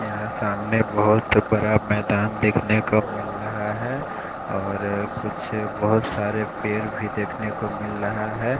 यहाँ सामने बहोत ही बड़ा मैदान देखने को मिल रहा है और कुछ बहोत सारे पेड़ भी देखने को मिल रहा है।